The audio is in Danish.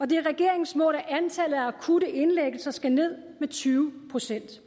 det er regeringens mål at antallet af akutte indlæggelser skal ned med tyve procent